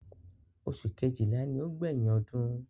Oṣù kejìlá ni ó gbẹ̀yìn ọdún.